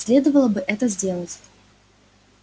следовало бы это сделать